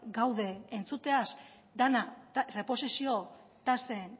gaude entzuteaz dena erreposizio tasen